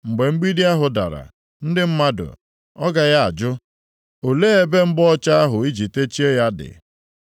Mgbe mgbidi ahụ dara, ndị mmadụ ọ gaghị ajụ, “Olee ebe mgba ọcha ahụ ị ji techie ya dị?”